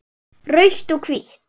Rautt og hvítt